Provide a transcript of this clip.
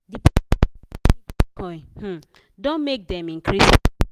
oin um don make dem increase.